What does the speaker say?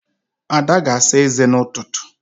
Ada ga-asa ézé n'ụtụtụ.